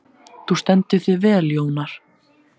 Þú stendur þig vel, Jónar!